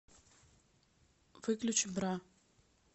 выключи бра